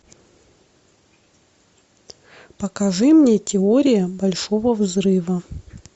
покажи мне теория большого взрыва